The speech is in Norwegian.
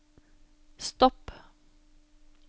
stopp